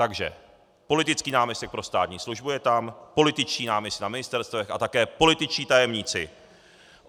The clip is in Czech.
Takže politický náměstek pro státní službu je tam, političtí náměstci na ministerstvech a také političtí tajemníci.